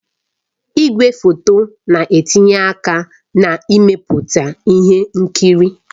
Igwefoto na-etinye aka na mmepụta ihe nkiri